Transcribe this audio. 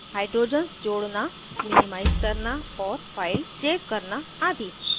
* hydrogens जोड़ना minimize करना और files सेव करना आदि